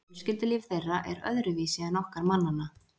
Fjölskyldulíf þeirra er öðruvísi en okkar mannanna.